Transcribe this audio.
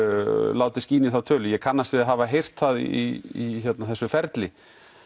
látið skína í þá tölu ég kannast við að hafa heyrt það í þessu ferli